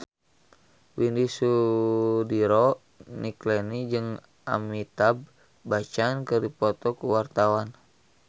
Widy Soediro Nichlany jeung Amitabh Bachchan keur dipoto ku wartawan